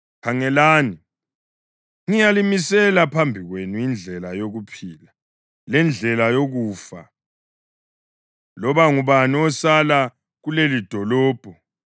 Loba ngubani osala kulelidolobho uzabulawa ngenkemba, yindlala loba ngumkhuhlane. Kodwa loba ngubani ophumayo kulo ayezinikela kumaKhaladiya alivimbezeleyo uzasila, aphunyuke lokuphila kwakhe.